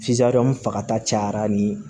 fagata cayara ni